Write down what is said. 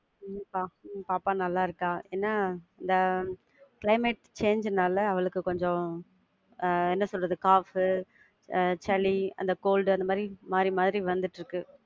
உம் பா, பாப்பா நல்லா இருக்கா. என்ன இந்த climate change நால அவளுக்கு கொஞ்சம் என்ன சொல்றது, பு, ஆஹ் சளி, அந்த cold டு அந்த மாதிரி மாரி மாரி வந்துட்டு இருக்கு.